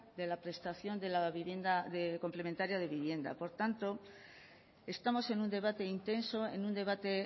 de la prestación complementaria de vivienda por tanto estamos en un debate intenso en un debate